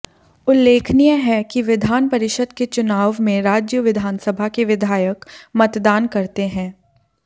उल्लेखनीय है कि विधान परिषद के चुनाव में राज्य विधानसभा के विधायक मतदान करते हैं